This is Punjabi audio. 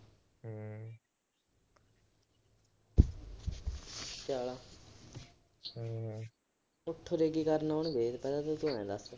ਊਠ ਉਰੇ ਕੀ ਕਰਨ ਆਉਣਗੇ, ਪਹਿਲਾ ਤੂੰ ਆਏ ਦੱਸ।